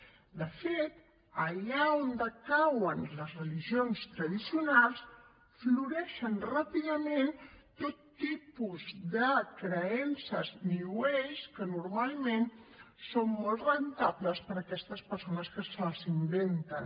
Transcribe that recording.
de fet allà on decauen les religions tradicionals floreixen ràpidament tot tipus de creences new age que normalment són molt rendibles per a aquestes persones que se les inventen